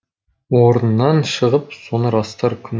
орнынан шығып соны растар күн